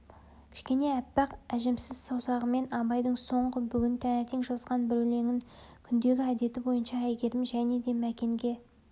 кішкене аппақ әжімсіз саусағымен абайдың соңғы бүгін таңертең жазған бір өлеңін күндегі әдеті бойынша әйгерім және де мәкенге